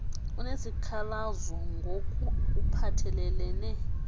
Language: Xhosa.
unesikhalazo ngok uphathelelene